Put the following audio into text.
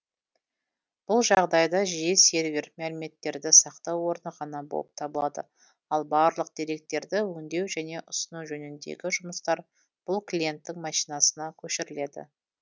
бұл жағдайда жиі сервер мәліметтерді сақтау орны ғана болып табылады ал барлық деректерді өңдеу және ұсыну жөніндегі жұмыстар бұл клиенттің машинасына көшіріледі